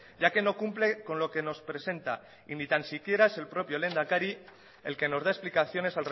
ya que no cumple con lo que nos presenta y ni tan siquiera es el propio lehendakari el que nos da explicaciones